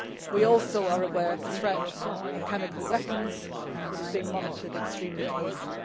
We also are aware of the threat of chemical weapons, and that is being monitored extremely closely.